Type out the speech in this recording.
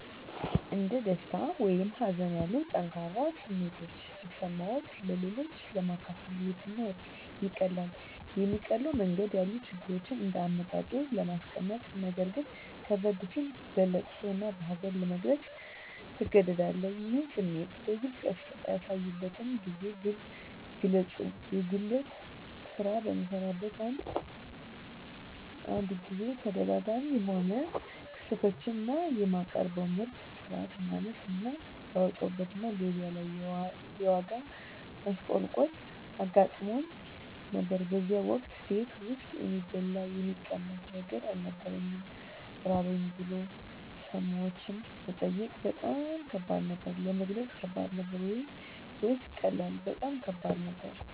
እንደ ደስታ ወይም ሀዘን ያሉ ጠንካራ ስሜቶች ሲሰማዎት-ለሌሎች ለማካፈል የትኛው ይቀላል? የሚቀለው መንገድ ያሉ ችግሮችን እንደ አመጣጡ ለማስቀመጥነገር ግን ከበድ ሲል በለቅሶ እና በሀዘን ለመግለፅ ትገደዳለህ ይህን ስሜት በግልጽ ያሳዩበትን ጊዜ ግለጹ የጉልት ስራ በምሰራበት አንድ ጊዜ ተደጋጋሚ የሆኑ ክስረቶች እና የማቀርበው ምርት ጥራት ማነስ እና ያወጣሁበት እና ገቢያ ላይ የዋጋ ማሽቆልቆል አጋጥሞኝ ነበር በዚያን ወቅት ቤት ውስጥ የሚበላ የሚቀመስ ነገር አልነበረኝም ራበኝ ብሎ ሰዎችን መጠየቅ በጣም ከባድ ነበር። ለመግለጽ ከባድ ነበር ወይስ ቀላል? በጣም ከባድ ነበር